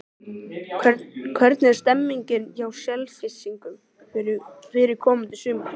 Hvernig er stemmingin hjá Selfyssingum fyrir komandi sumar?